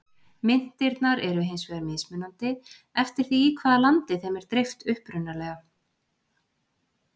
Myntirnar eru hins vegar mismunandi, eftir því í hvaða landi þeim er dreift upprunalega.